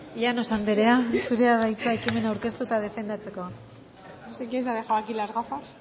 llanos anderea zurea da hitza ekimena aurkeztu eta defendatzeko no sé quién se ha dejado aquí las gafas